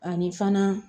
Ani fana